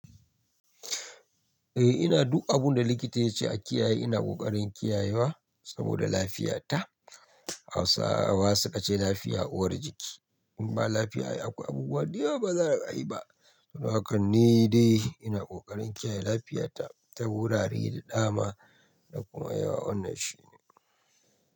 Eh ina duk abun da likita ya ce a kiyaye ina ƙoƙarin kiyaye wa saboda lafiyata. Hausawa su ka ce lafiya uwar jiki. In ba lafiya akwai abubuwa da yawa ba za a ayi ba. Don haka ni dai ina ƙoƙarin kiyaye lafiyata ta wurare da dama da kuma ya wannan shine.